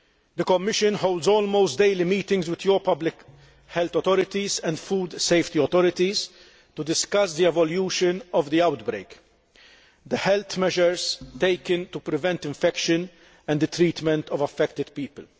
The Commission holds almost daily meetings with your public health authorities and food safety authorities to discuss the evolution of the outbreak, the health measures taken to prevent infection and the treatment of affected people.